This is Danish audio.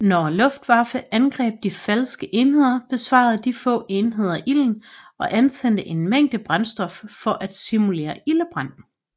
Når Luftwaffe angreb de falske enheder besvarede de få enheder ilden og antændte en mængde brændstof for at simulere ildebrand